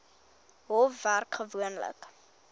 hof werk gewoonlik